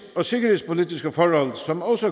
og sikkerhedspolitiske forhold som også